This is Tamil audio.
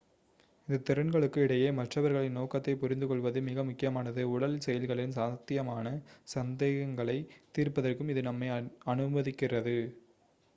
இந்த திறன்களுக்கு இடையே மற்றவர்களின் நோக்கத்தைப் புரிந்துகொள்வது மிக முக்கியமானது உடல் செயல்களின் சாத்தியமான சந்தேகங்களைத் தீர்ப்பதற்கு இது நம்மை அனுமதிக்கிறது